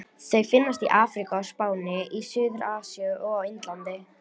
Þau finnast í Afríku, á Spáni, í Suður-Asíu og á Indlandi.